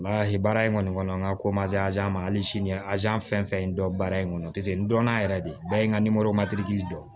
baara in kɔni kɔnɔ n ka ko ma se ma hali sini fɛn fɛn dɔn baara in kɔnɔ paseke n dɔnna yɛrɛ de bɛɛ ye n ka dɔn